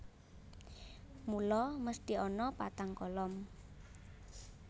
Mula mesthi ana patang kolom